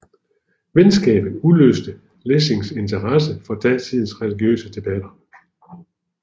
Venskabet udløste Lessings interesse for datidens religiøse debatter